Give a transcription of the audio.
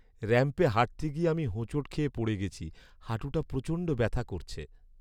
র‍্যাম্পে হাঁটতে গিয়ে আমি হোঁচট খেয়ে পড়ে গেছি। হাঁটুটা প্রচণ্ড ব্যাথা করছে।